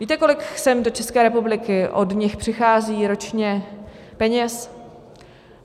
Víte, kolik sem do České republiky od nich přichází ročně peněz?